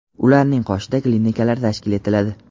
ularning qoshida klinikalar tashkil etiladi;.